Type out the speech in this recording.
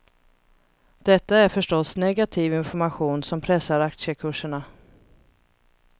Detta är förstås negativ information som pressar aktiekurserna.